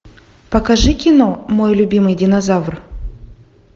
покажи кино мой любимый динозавр